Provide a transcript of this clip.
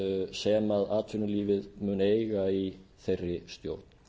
sem atvinnulífið mun eiga í þeirri stjórn